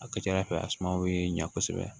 A ka ca ala fɛ a sumaw bɛ ɲa kosɛbɛ